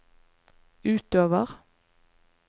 utover